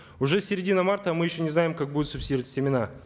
уже середина марта а мы не еще не знаем как будут субсидироваться семена